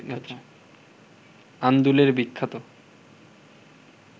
আন্দুলের বিখ্যাত